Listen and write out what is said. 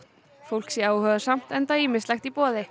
fólk sé áhugasamt enda ýmislegt í boði